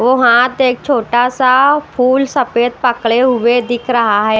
वो हाथ एक छोटा सा फूल सफेद पकड़े हुए दिख रहा है।